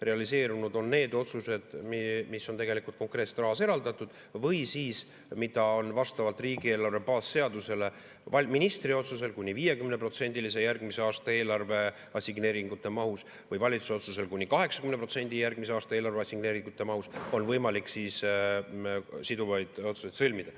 Realiseerunud on need otsused, mille jaoks on konkreetselt raha eraldatud või mille puhul on vastavalt riigieelarve baasseadusele ministri otsusel kuni 50% järgmise aasta eelarve assigneeringute mahus või valitsuse otsesel kuni 80% järgmise aasta eelarve assigneeringute mahus võimalik siduvaid otsuseid sõlmida.